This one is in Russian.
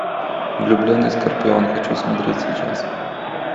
влюбленный скорпион хочу смотреть сейчас